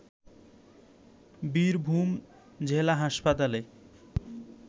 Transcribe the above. বীরভূম জেলা হাসপাতালে